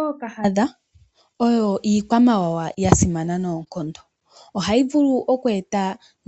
Ookahadha oyo iikwamawawa ya simana noonkondo. Ohayi vulu oku eta